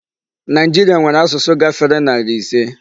Nigeria nwèrè asụsụ gáfèrè narị ịse.